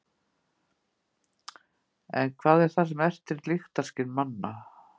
en hvað er það sem ertir lyktarskyn manna